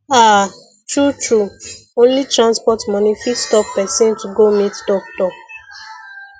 ah true true only transport money fit stop person to go meet doctor